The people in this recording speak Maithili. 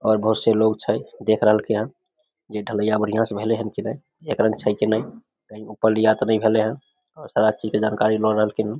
बहुत से लोग छै देख रहलखीन ये ढलयईयां बढ़िया से भेले ये की ने एक रंग छै की ने कही ऊपर लिया ते ने भले ये और सारा चीज के जानकारी ल रहले हेय ।